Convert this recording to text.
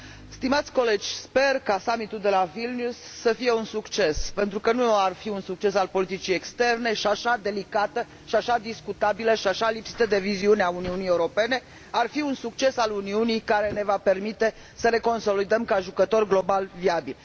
Stimați colegi, sper ca summitul de la Vilnius să fie un succes, pentru că nu ar fi un succes al politicii externe și așa delicată, și așa discutabilă, și așa lipsită de viziune a Uniunii Europene, ar fi un succes al Uniunii care ne va permite să ne consolidăm ca jucător global viabil.